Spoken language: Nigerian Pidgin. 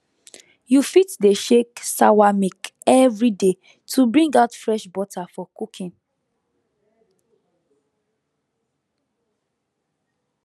you fit dey shake sawa milk every day to bring out fresh butter for cooking